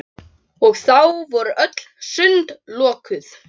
Og þá voru öll sund lokuð!